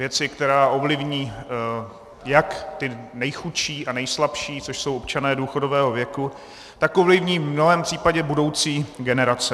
Věci, která ovlivní jak ty nejchudší a nejslabší, což jsou občané důchodového věku, tak ovlivní v mnohém případě budoucí generace.